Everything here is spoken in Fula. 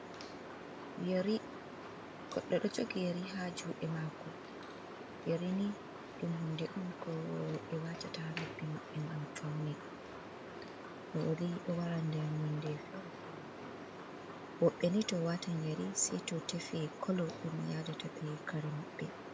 Yari goɗɗo ɗo jogi yari ha juɗe mako, yari ni ɗum hunde on ko roɓe watata ha nobbi maɓɓe ngam fauna yari o wara nder nonde fere fere, woɓɓe ni to watan yari sei to tefe kolo ɗum yadata be kare maɓɓe.